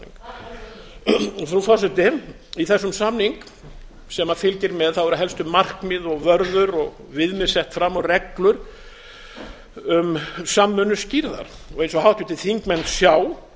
rammasamning frú forseti í þessu samning sem fylgir með eru helstu markmið og vörður og viðmið sett og reglur um samvinnu skýrðar eins og háttvirtir þingmenn sjá